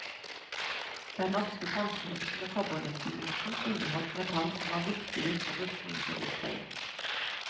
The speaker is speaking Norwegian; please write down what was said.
Den norske bronsemynten og kobbernikkelmynten inneholdt metall som var viktige for rustningsindustrien.